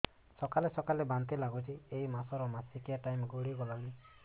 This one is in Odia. ସକାଳେ ସକାଳେ ବାନ୍ତି ଲାଗୁଚି ଏଇ ମାସ ର ମାସିକିଆ ଟାଇମ ଗଡ଼ି ଗଲାଣି